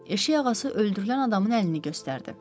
Eşək ağası öldürülən adamın əlini göstərdi.